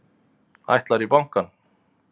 Ætlarðu í bankann?